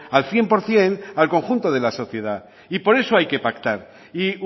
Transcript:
al cien por ciento al conjunto de la sociedad y por eso hay que pactar y